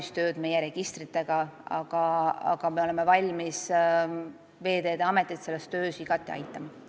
See töö ei ole veel valmis, aga me oleme valmis Veeteede Ametit igati aitama.